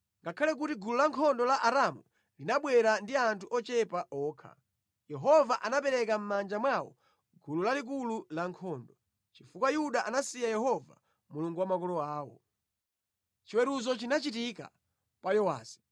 Ngakhale kuti gulu lankhondo la Aramu linabwera ndi anthu ochepa okha, Yehova anapereka mʼmanja mwawo gulu lalikulu lankhondo. Chifukwa Yuda anasiya Yehova Mulungu wa makolo awo, chiweruzo chinachitika pa Yowasi.